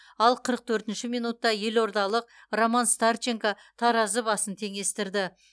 ал қырық төртінші минутта елордалық роман старченко таразы басын теңестірді